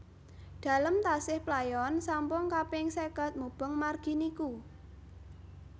Dalem tasih playon sampung kaping seket mubeng margi niku